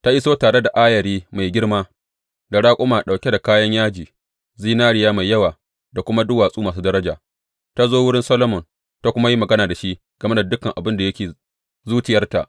Ta iso tare da ayari mai girma, da raƙuma ɗauke da kayan yaji, zinariya mai yawa, da kuma duwatsu masu daraja, ta zo wurin Solomon ta kuma yi magana da shi game da dukan abin da yake zuciyarta.